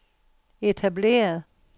etableret